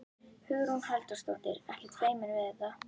Hugrún Halldórsdóttir: Ekkert feiminn við þetta?